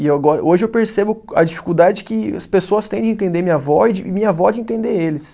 E ago, hoje eu percebo a dificuldade que as pessoas têm de entender minha avó e minha avó de entender eles.